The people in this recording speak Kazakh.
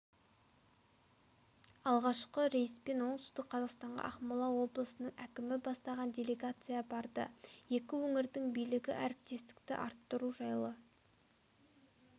алғашқы рейспен оңтүстік қазақстанға ақмола облысының әкімі бастаған делегация барды екі өңірдің билігі әріптестікті арттыру жайлы